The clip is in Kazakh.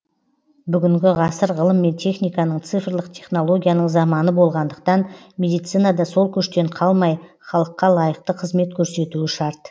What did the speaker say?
бүгінгі ғасыр ғылым мен техниканың цифрлық технологияның заманы болғандықтан медицина да сол көштен қалмай халыққа лайықты қызмет көрсетуі шарт